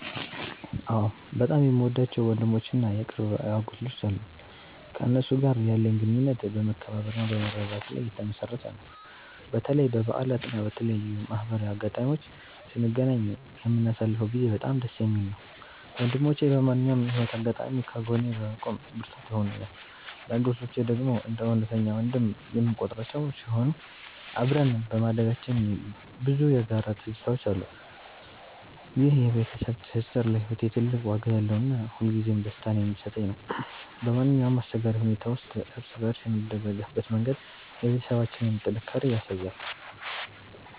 አዎ፣ በጣም የምወዳቸው ወንድሞች እና የቅርብ የአጎት ልጆች አሉኝ። ከእነሱ ጋር ያለን ግንኙነት በመከባበርና በመረዳዳት ላይ የተመሠረተ ነው። በተለይ በበዓላት እና በተለያዩ ማህበራዊ አጋጣሚዎች ስንገናኝ የምናሳልፈው ጊዜ በጣም ደስ የሚል ነው። ወንድሞቼ በማንኛውም የህይወት አጋጣሚ ከጎኔ በመቆም ብርታት ይሆኑኛል። የአጎቴ ልጆች ደግሞ እንደ እውነተኛ ወንድም የምቆጥራቸው ሲሆን፣ አብረን በማደጋችን ብዙ የጋራ ትዝታዎች አሉን። ይህ የቤተሰብ ትስስር ለህይወቴ ትልቅ ዋጋ ያለውና ሁልጊዜም ደስታን የሚሰጠኝ ነው። በማንኛውም አስቸጋሪ ሁኔታ ውስጥ እርስ በእርስ የምንደጋገፍበት መንገድ የቤተሰባችንን ጥንካሬ ያሳያል።